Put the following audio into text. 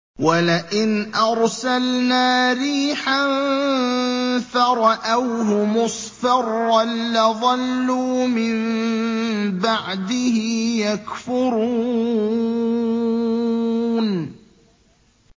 وَلَئِنْ أَرْسَلْنَا رِيحًا فَرَأَوْهُ مُصْفَرًّا لَّظَلُّوا مِن بَعْدِهِ يَكْفُرُونَ